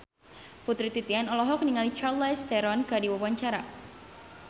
Putri Titian olohok ningali Charlize Theron keur diwawancara